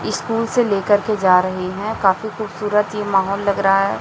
School से लेकर के जा रहे हैं काफी खूबसूरत ये माहौल लग रहा है।